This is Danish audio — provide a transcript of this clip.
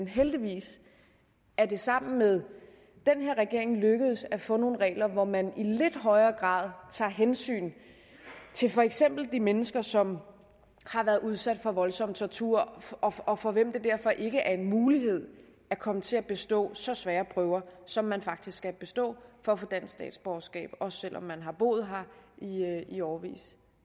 heldigvis er det sammen med den her regering lykkedes at få nogle regler hvor man i lidt højere grad tager hensyn til for eksempel de mennesker som har været udsat for voldsom tortur og for hvem det derfor ikke er en mulighed at komme til at kunne bestå så svære prøver som man faktisk kan bestå for at få dansk statsborgerskab også selv om man har boet her i årevis